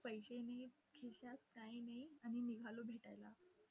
पैसे नाहीयेत खिशात काही नाही, आणि निघालो भेटायला.